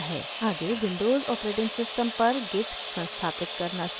आगे windows os पर git संस्थापित करना सीखते हैं